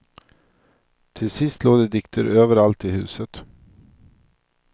Till sist låg det dikter överallt i huset.